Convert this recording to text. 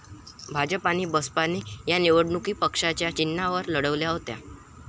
भाजप आणि बसपाने या निवडणुका पक्षाच्या चिन्हावर लढवल्या होत्या.